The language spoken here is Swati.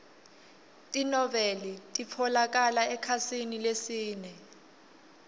tinoueli titfolokala ekhasini lesine